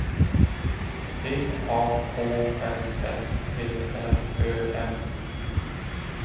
D A H L S T R Ö M